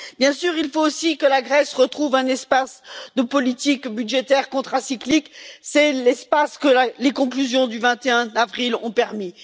Bien sûr, il faut aussi que la Grèce retrouve un espace de politique budgétaire contracyclique, c'est l'espace que les conclusions du 21 avril ont permis.